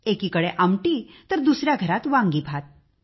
एकीकडे आमटी तर दुसऱ्या घरात वांगीभात